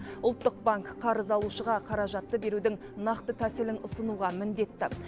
ұлттық банк қарыз алушыға қаражатты берудің нақты тәсілін ұсынуға міндетті